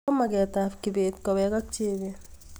ko maget ab kibet kowek ak jebet